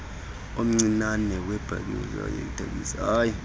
omncinane wemibutho yeetekisi